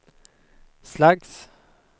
slags